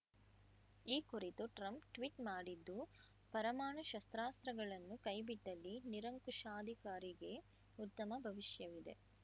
ಈ ಕುರಿತು Trump tweet ಮಾಡಿದ್ದು ಪರಮಾಣು ಶಸ್ತ್ರಾಸ್ತ್ರಗಳನ್ನು ಕೈಬಿಟ್ಟಲ್ಲಿ ನಿರಂಕುಶಾಧಿಕಾರಿಗೆ ಉತ್ತಮ ಭವಿಷ್ಯವಿದೆ